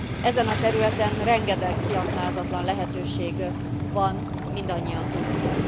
Ezen a területen rengeteg kiaknázatlan lehetőség van, mindannyian tudjuk.